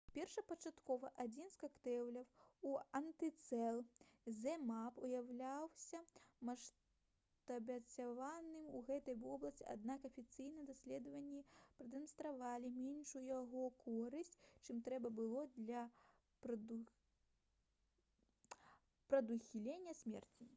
першапачаткова адзін з кактэйляў з антыцел zmapp уяўляўся шматабяцальным у гэтай вобласці аднак афіцыйныя даследаванні прадэманстравалі меншую яго карысць чым трэба было для прадухілення смерці